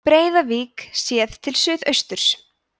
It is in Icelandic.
breiðavík séð til suðausturs